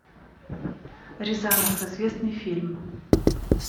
рязанов известный фильм